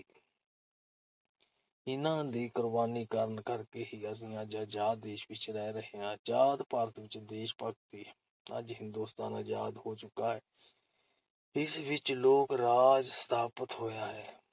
ਇਨ੍ਹਾਂ ਦੇ ਕੁਰਬਾਨੀਆਂ ਕਰਨ ਕਰਕੇ ਹੀ ਅਸੀ ਅੱਜ ਅਜ਼ਾਦ ਦੇਸ਼ ਵਿਚ ਰਹਿ ਰਹੇ ਹਾਂ। ਅਜ਼ਾਦ ਭਾਰਤ ਵਿਚ ਦੇਸ਼-ਭਗਤੀ-ਅੱਜ ਹਿੰਦੂਸਤਾਨ ਅਜ਼ਾਦ ਹੋ ਚੁੱਕਾ ਹੈ । ਇਸ ਵਿਚ ਲੋਕ-ਰਾਜ ਸਥਾਪਤ ਹੋਇਆ ਹੈ ।